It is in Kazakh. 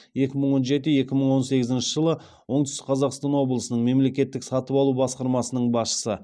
екі мың он жеті екі мың он сегізінші жылы оңтүстік қазақстан облысының мемлекеттік сатып алу басқармасының басшысы